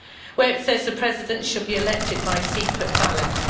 where it says the President should be elected by secret ballot.